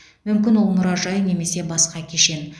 мүмкін ол мұражай немесе басқа кешен